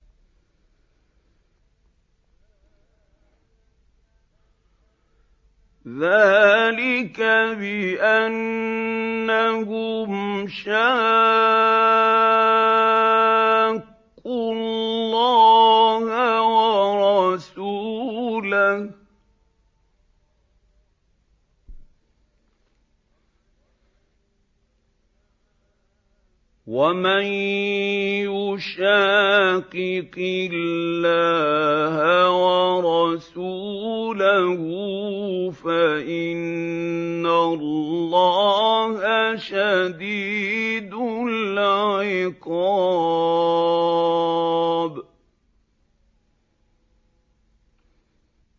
ذَٰلِكَ بِأَنَّهُمْ شَاقُّوا اللَّهَ وَرَسُولَهُ ۚ وَمَن يُشَاقِقِ اللَّهَ وَرَسُولَهُ فَإِنَّ اللَّهَ شَدِيدُ الْعِقَابِ